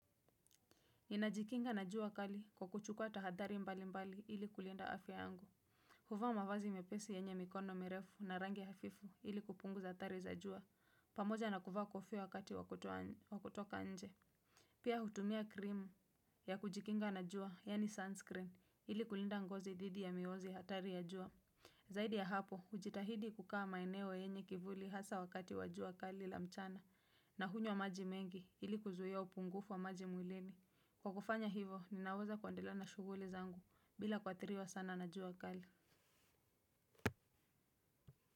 Ninajikinga na jua kali kwa kuchukua tahadhari mbali mbali ili kulinda afya angu. Huvaa mavazi mepesi yenye mikono merefu na rangi hafifu ili kupunguza athari za jua. Pamoja na kuvaa kofia wakati wa kutoka nje. Pia hutumia krimu ya kujikinga na jua, yani sunscreen, ili kulinda ngozi dhidi ya mionzi ya hatari ya jua. Zaidi ya hapo, hujitahidi kukaa maeneo yenye kivuli hasa wakati wa jua kali la mchana. Na hunywa maji mengi ili kuzuia upungufu wa maji mwilini. Kwa kufanya hivo, ninaweza kuendelea na shughuli zangu bila kuathiriwa sana na jua kali.